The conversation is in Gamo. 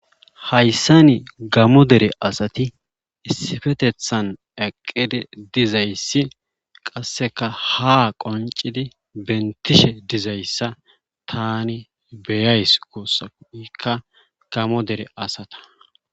Hayssa ni gamo dere asati issifetethan aqqidi dizayssi qasseka ha qoncidi bentishe dizayssa tani beyays kossaikka gamo dere asata..